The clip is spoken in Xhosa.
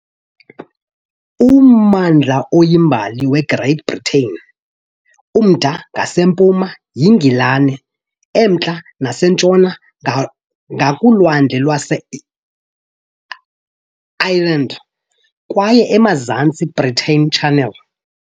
Ummandla oyimbali weGreat Britain, umda ngasempuma yiNgilani, emantla nasentshona ngakuLwandle lwaseIreland kwaye emazantsi yiBristol Channel .